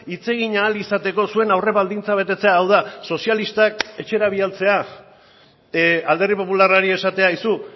hitz egin ahal izateko zuen aurrebaldintza betetzea hau da sozialistak etxera bidaltzea alderdi popularrari esatea aizu